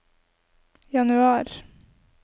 januar